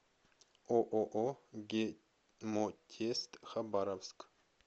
ооо гемотест хабаровск